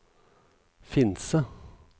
Finse